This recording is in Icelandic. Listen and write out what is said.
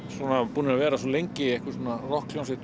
búnir að vera svo lengi rokkhljómsveit